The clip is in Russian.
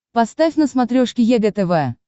поставь на смотрешке егэ тв